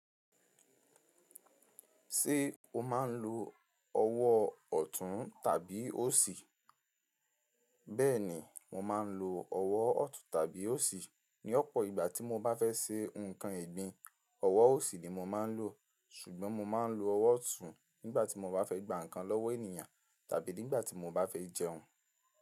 Ṣé o máa ń lo ọwọ́ ọ̀tún tàbí òsì? Bẹ́ẹ̀ni, mo máa ń lo ọwọ́ ọ̀tún tàbí òsì. Ni ọ̀pọ̀ ìgbà tí mo bá fẹ́ ṣe nǹkan egbín, ọwọ́ òsì ni mo máa ń lò. Ṣùgbọ́n mo máa ń lo ọwọ́ ọ̀tún nígbà tí mo bá fẹ́ gba nǹkan lọ́wọ́ ènìyàn tàbí nígbà tí mo bá fẹ́ jẹun.